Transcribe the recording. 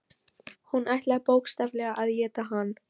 Hún ætlaði bókstaflega að éta hann.